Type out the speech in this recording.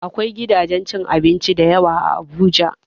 Akwai gidajen cin abinci da yawa a Abuja.